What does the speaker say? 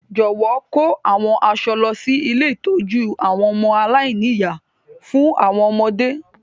Jọ̀wọ́ kò àwọn aṣọ lọ si ilé ìtójú àwon ọmọ aláìní-ìyá fún àwọn ọmọdé.